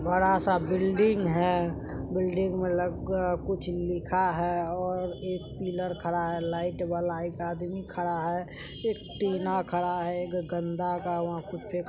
बड़ा सा बिल्डिंग है बिल्डिंग में लगा ला कुछ लिखा है और एक पिलर खड़ा है लाइट वाला एक आदमी खड़ा है एक टीना खड़ा है एक गंदा का वहां कुछ फेका --